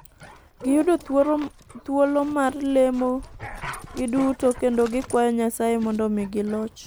Gi yudo thuolo mar lemo gi duto kendo gi kwayo Nyasaye mondo omigi loch.